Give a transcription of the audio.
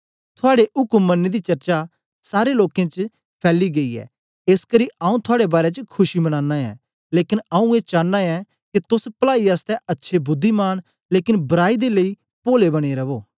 थुआड़ी उक्म मनने दी चर्चा सारे लोकें च फैली गई ऐ एसकरी आऊँ थुआड़े बारै च खुशी मनानां ऐं लेकन आऊँ ए चानां ऐं के तोस पलाई आसतै अच्छे बुद्धिमान लेकन बराई दे लेई पोले बने रवो